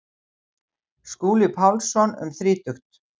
Skúli Pálsson um þrítugt.